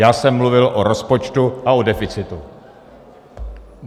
Já jsem mluvil o rozpočtu a o deficitu.